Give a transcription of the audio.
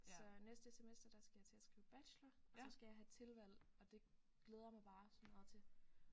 Så næste semester der skal jeg til at skrive bachelor og så skal jeg have tilvalg og det glæder jeg mig bare så meget til